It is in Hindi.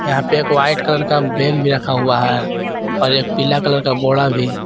यहां पे एक वाइट कलर का बेग भी रखा हुआ है और एक पीला कलर का बोड़ा भी।